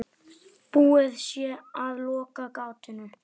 Búið sé að loka gatinu.